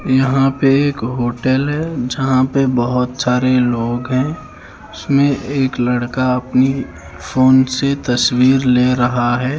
यहाँ पे एक होटेल हैं जहाँ पे बहुत सारे लोग हैं उसमें एक लड़का अपनी फोन से तस्वीर ले रहा हैं।